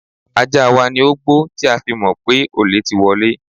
Ajá wa ni ó gbó tí a fi mọ̀ pé olè ti wọlé.